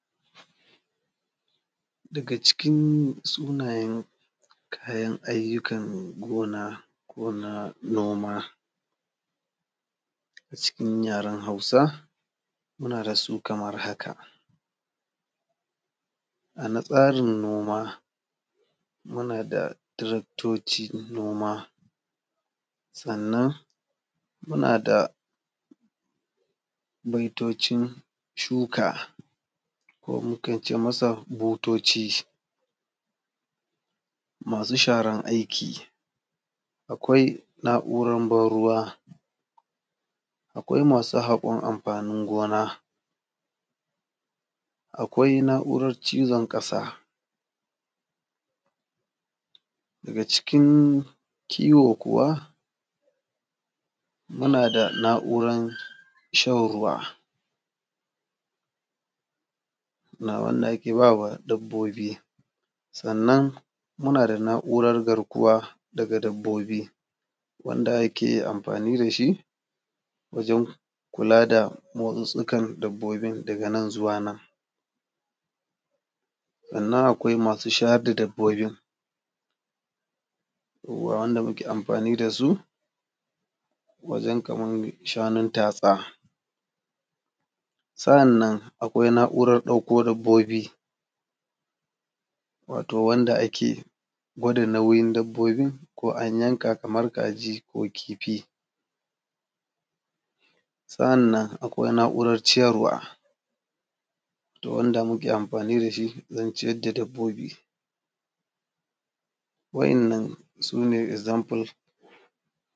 Daga cikin sunayen kayan ayyukan gona ko namona a cikin yaren Hausa muna da su kaman haka: a natsarin noma muna da tiraktocin noma, sannan muna da motocin shuka ko mukan ce masa butoci masu sharan aiki. Akwai na’uran ban ruwa, akwai masu haƙon anfanin gona, akwai n’auran cizon ƙasa daga cikin kiwo kuma muna da na’uran shan ruwa na wanda ake ba wa dabbobi, sannan muna da na’uran garkowa ga dabbobi wanda ake anfani da shi wajen kula da motsitstsikan dabbobin, daga nan zuwa nan sannan akwai masu shayar da dabbobin ruwa wanda muke anfani da su wajen kaman shanun tatsa. S a’annan akwai na’uran ɗauko dabbobi wato wanda ake gwada nauyin dabbobin ko an yanka kaman kaji ko kifi, sa’annan akwai na’uran ciyarwa mu wanda muke anfani da shi, zance na dabbobi wayannan su ne example.